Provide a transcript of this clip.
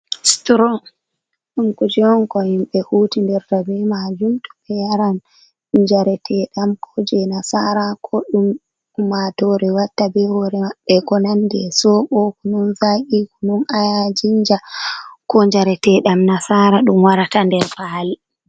Stron ɗm k jnko himɓe huti nder rabe majum to be yaran jareteɗam ko je nasara ko ɗum kumatore watta be hore maɓɓe ko nanɗe sobokunun za’i kunun ayajinja ko jareteɗam nasara ɗum warata ɗer fali.